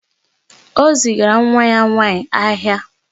O zigara nwa ya nwaanyị ahịa.